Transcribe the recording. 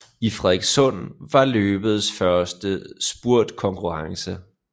I Frederikssund var løbets første spurtkonkurrence